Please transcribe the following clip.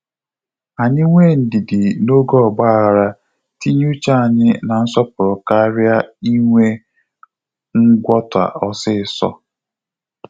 Anyị nwe ndidi na-oge ọgbaaghara tinye uche anyị na nsọpụrụ karịa inwe ngwọta osiso